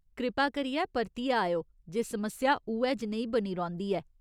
कृपा करियै परतियै आएओ जे समस्या उ'ऐ जनेही बनी रौंह्दी ऐ।